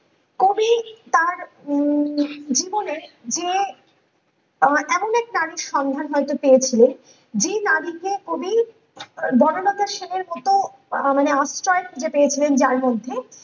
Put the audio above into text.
কবি তার উম হৃদয়ে যে এমন একটা মানুষ সন্ধান হয়তো পেয়েছিলেন যে নারীকে কবি বনলতা সেনের মতো আহ মানে আশ্রয় খুঁজে পেয়েছিলেন যার মধ্যে